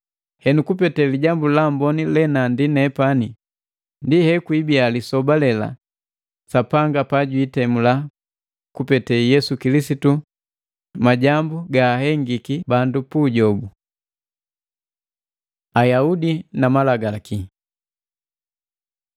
Henu, kupete Lijambu la Amboni lenandi nepani ndi hekwiibia lisoba lela Sapanga pajwiitemula kupete Yesu Kilisitu majambu gaahengiki bandu pu ujobu. Ayaudi na Malagalaki